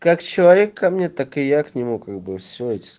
как человек ко мне так и я к нему как бы всё